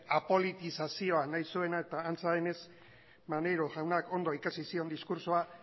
apolitizazioa nahi zuena eta antza denez maneiro jaunak ondo ikasi zion diskurtsoa